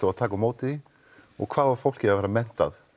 að taka á móti því og hvað á fólkið að vera menntað